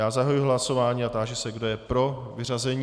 Já zahajuji hlasování a táži se, kdo je pro vyřazení.